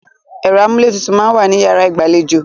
Ẹ̀rọ amúlétutù máa ń wà ní yàrá ìgbàlejò.